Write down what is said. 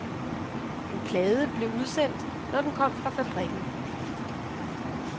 En plade blev udsendt, når den kom fra fabrikken.